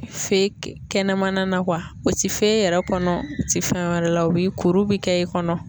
Fe kɛnɛmana na o ti fe yɛrɛ kɔnɔ o ti fɛn wɛrɛ la o bi kuru bi kɛ i kɔnɔ.